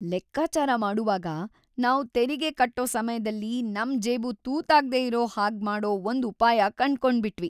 ಲೆಕ್ಕಾಚಾರ ಮಾಡುವಾಗ, ನಾವು ತೆರಿಗೆ ಕಟ್ಟೋ ಸಮಯ್ದಲ್ಲಿ ನಮ್‌ ಜೇಬು ತೂತಾಗ್ದೇ ಇರೋ ಹಾಗ್ಮಾಡೋ ಒಂದ್‌ ಉಪಾಯ ಕಂಡ್ಕೊಂಬಿಟ್ವಿ!